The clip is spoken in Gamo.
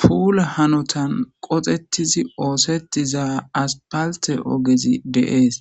Pulla hanoththan qoxxethizi oothetiza asspalthe oggezi dees.